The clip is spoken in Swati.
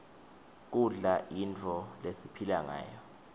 kudla yintfo lesipihla ngayo